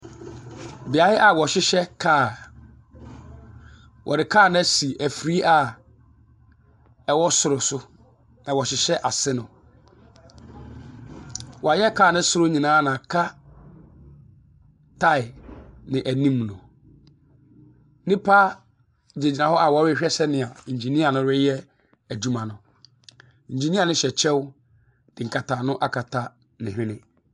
Beaeɛ a wɔhyehyɛ kaa. Wɔde kaa no asi afiri a ɛwɔ soro so, na wɔrehyehyɛ ase no. Wɔayɛ kaa no soro no nyinaa ma aka tire ne anim no. Nnipa gyinagyina hɔ a wɔrehwɛ sɛdeɛ engineer no reyɛ adwuma no. Engineer no hyɛ kyɛw de nkataano aka ne hwene.